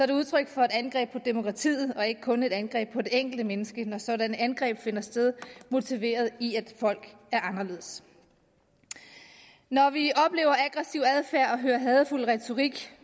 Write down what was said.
det udtryk for et angreb på demokratiet og ikke kun et angreb på det enkelte menneske når sådanne angreb finde sted motiveret i at folk er anderledes når vi oplever aggressiv adfærd og hører hadefuld retorik